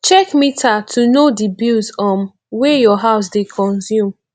check meter to know di bills um wey your house dey consume